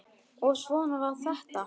Og svona var þetta.